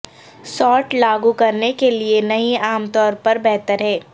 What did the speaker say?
salt لاگو کرنے کے لئے نہیں عام طور پر بہتر ہے